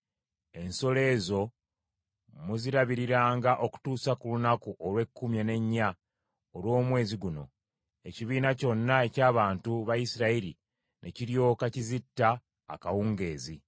Ensolo ezo muzirabiriranga okutuusa ku lunaku olw’ekkumi n’ennya olw’omwezi guno; ekibiina kyonna eky’abantu ba Isirayiri ne kiryoka kizitta akawungeezi.